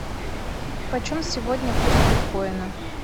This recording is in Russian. почем сегодня курс биткоина